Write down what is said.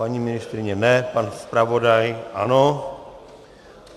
Paní ministryně ne, pan zpravodaj ano.